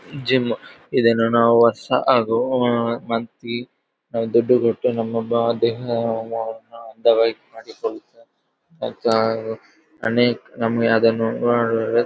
gym ಇದನ್ನು ನಾವು ವರ್ಷ ಹಾಗೂ ಮಂತ್ಲಿ ದುಡ್ಡು ಕೊಟ್ಟು ನಮ್ಮ ದೇಹವನ್ನ ಅಂದವಾಗಿ ಮತ್ತೆ ಅದನ್ನು --